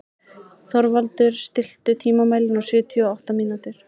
Þorvaldur, stilltu tímamælinn á sjötíu og átta mínútur.